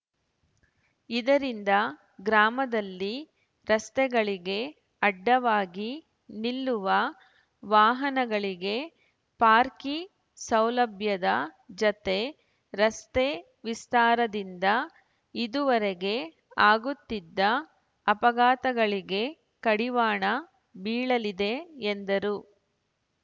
ಇದರಿಂದ ಗ್ರಾಮದಲ್ಲಿ ರಸ್ತೆಗಳಿಗೆ ಅಡ್ಡವಾಗಿ ನಿಲ್ಲುವ ವಾಹನಗಳಿಗೆ ಪಾರ್ಕಿ ಸೌಲಭ್ಯದ ಜತೆ ರಸ್ತೆ ವಿಸ್ತಾರದಿಂದ ಇದುವರೆಗೆ ಆಗುತ್ತಿದ್ದ ಅಪಘಾತಗಳಿಗೆ ಕಡಿವಾಣ ಬೀಳಲಿದೆ ಎಂದರು